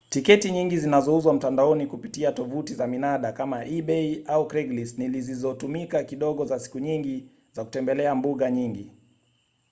tiketi nyingi zinazouzwa mtandaoni kupitia tovuti za minada kama ebay au craiglist ni zilizotumika kidogo za siku nyingi za kutembelea mbuga nyingi